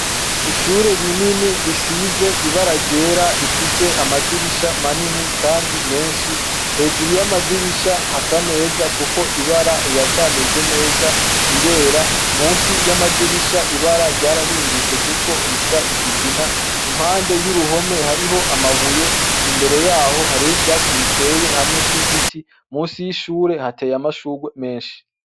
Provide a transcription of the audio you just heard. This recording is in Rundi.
Ishure rinini risize ibara ryera rifise amadirisha manini, kandi menshi hejuru y'amadirisha hasa neza, kuko ibara riracameze neza rirera musi y'amadirisha ibara ryarahindutse, kuko risa ikigina impande y'uruhome hariho amabuye imbere yawo aho hariho ivyatsi biteye hamwe n'igiti musi y'ishure hateye amashurwe menshi.